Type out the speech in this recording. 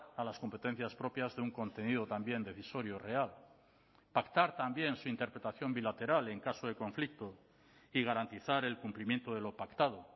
a las competencias propias de un contenido también decisorio real pactar también su interpretación bilateral en caso de conflicto y garantizar el cumplimiento de lo pactado